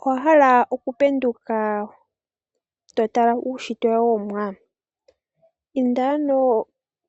Owa hala oku penduka to tala uunshitwe womuwa? Inda ano